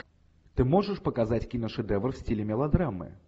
ты можешь показать киношедевр в стиле мелодрамы